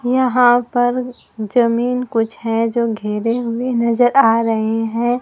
यहां पर जमीन कुछ है जो घेरे हुए नजर आ रहे हैं।